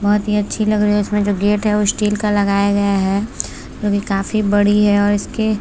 बहुत ही अच्छी लग रही उसमे जो गेट है वो स्टील का लगाया गया है काफी बड़ी है और इसके--